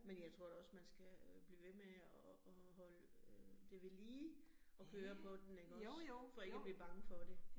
Men jeg tror da også, man skal blive ved med at at holde øh det ved lige at køre på den ikke også for ikke at blive bange for det